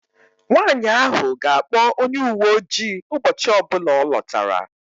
Nwanyị ahụ ga-akpọ onye uwe ojii ụbọchị ọ bụla ọ lọtara